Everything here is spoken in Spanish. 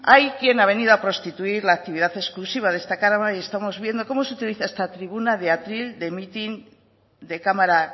hay quien ha venido a prostituir la actividad exclusiva de esta cámara y estamos viendo cómo se utilizan esta tribuna de atril de mitin de cámara